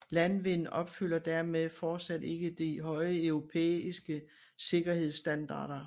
Landwind opfylder dermed fortsat ikke de høje europæiske sikkerhedsstandarder